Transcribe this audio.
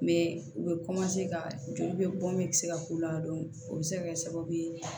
u bɛ ka joli bɛ bɔn bɛ se ka k'u la o bɛ se kɛ sababu ye